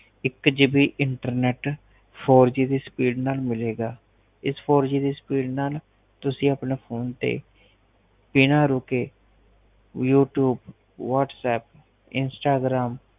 ਹਰ ਰੋਜ ਇਕ G B internet four G B speed ma'am ਮਿਲੇ ਗਾ ਇਸ four ਜੀ ਦੀ ਸਪੀਡ ਨਾਲ ਮੈਡਮ ਤੁਸੀ ਆਪਣੇ ਫੋਨ ਤੇ ਬਿਨਾ ਰੁਕੇ youtubewhatsappinstagram